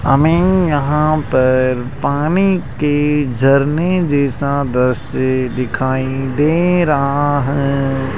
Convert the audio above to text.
हमें यहां पर पानी के झरने जैसा दृश्य दिखाई दे रहा है।